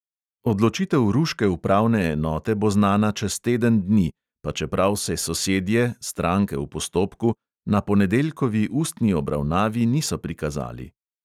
Odločitev ruške upravne enote bo znana čez teden dni, pa čeprav se sosedje, stranke v postopku, na ponedeljkovi ustni obravnavi niso prikazali.